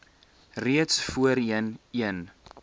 reeds voorheen een